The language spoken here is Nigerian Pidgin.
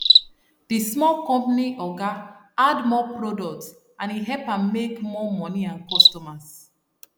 the small company oga add more product and e help am make more money and customers